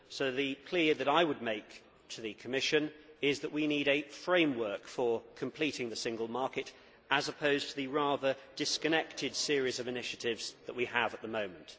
The plea that I would make to the Commission is that we need a framework for completing the single market, as opposed to the rather disconnected series of initiatives that we have at the moment.